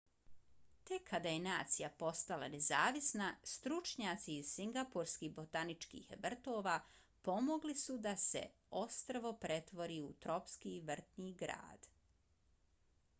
tek kada je nacija postala nezavisna stručnjaci iz singapurskih botaničkih vrtova pomogli suda se ostrvo pretvori u tropski vrtni grad